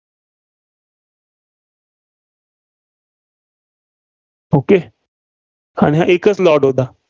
Okay आणि हा एकच lot होता.